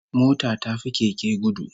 Mota ta fi Keke gudu